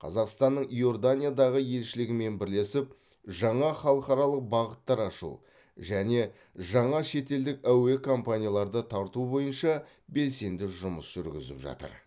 қазақстанның иорданиядағы елшілігімен бірлесіп жаңа халықаралық бағыттар ашу және жаңа шетелдік әуе компанияларды тарту бойынша белсенді жұмыс жүргізіп жатыр